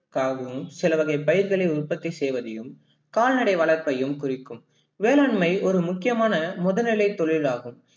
காகவும் சில வகை பயிர்களை உற்பத்தி செய்வதையும் கால்நடை வளத்தையும் குறிக்கும் வேளாண்மை ஒரு முக்கியமான முதனிலை தொழிலாகும்.